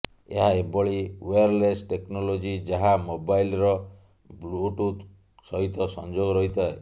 ଏହା ଏଭଳି wireless technology ଯାହା ମୋବାଇଲ୍ର ବ୍ଲୁଟୁଥ୍ ସହିତ ସଂଯୋଗ ରହିଥାଏ